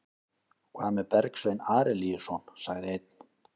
Hvað með Bergsvein Arilíusson, sagði einn?